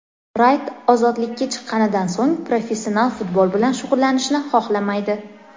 Rayt ozodlikka chiqqanidan so‘ng professional futbol bilan shug‘ullanishni xohlamaydi.